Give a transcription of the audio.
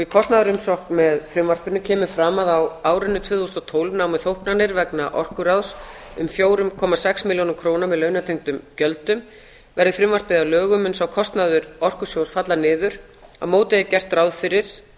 í kostnaðarumsögn með frumvarpinu kemur fram að á árinu tvö þúsund og tólf námu þóknanir vegna orkuráðs um fjögur komma sex milljónum króna með launatengdum gjöldum á móti er gert ráð fyrir